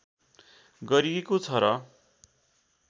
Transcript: गरिएको छ र